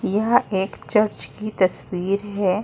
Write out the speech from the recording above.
यह एक चर्च की तस्वीर है।